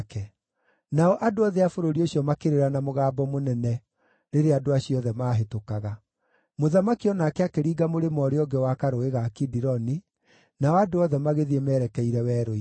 Nao andũ othe a bũrũri ũcio makĩrĩra na mũgambo mũnene rĩrĩa andũ acio othe maahĩtũkaga. Mũthamaki o nake akĩringa mũrĩmo ũrĩa ũngĩ wa karũũĩ ga Kidironi, nao andũ othe magĩthiĩ merekeire werũ-inĩ.